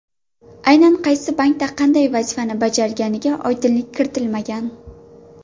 Aynan qaysi bankda qanday vazifani bajarganiga oydinlik kiritilmagan.